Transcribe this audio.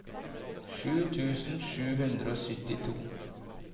sju tusen sju hundre og syttito